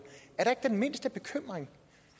er ikke den mindste bekymring